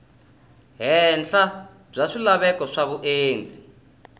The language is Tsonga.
henhla bya swilaveko swa vundzeni